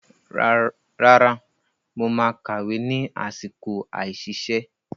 Rárá, mo máa ka ìwé ni àsìkò àìsiṣẹ́.